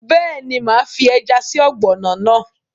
Bẹ́ẹ̀ni, máa fi ẹja sí ọ̀gbọ̀nọ̀ náà